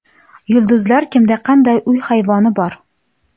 Yulduzlar: kimda qanday uy hayvoni bor?